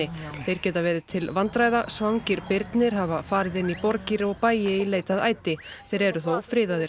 þeir geta verið til vandræða svangir birnir hafa farið inn í borgir og bæi í leit að æti þeir eru þó friðaðir